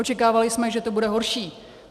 Očekávali jsme, že to bude horší.